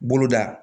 Bolo da